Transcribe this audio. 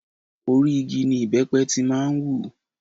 Orí igi ní ìbẹ́pẹ ti máa ń wù.